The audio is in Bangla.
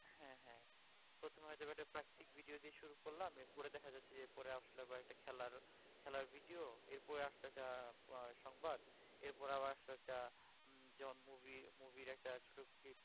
হ্যাঁ হ্যাঁ প্রথমে হয়ত বা একটা প্রাকৃতিক video দিয়ে শুরু করলাম এরপরে দেখা যাচ্ছে যে পরে আসলো একটা খেলার খেলার video এরপরে আসলো একটা আহ সংবাদ এরপরে আবার আসলো একটা যেমন movie movie এর একটা ছোটো clip